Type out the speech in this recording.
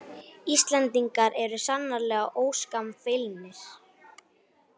Íslendingar eru sannarlega óskammfeilnir